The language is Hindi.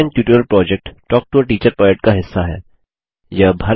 spoken tutorial project talk to a teacher project का हिस्सा है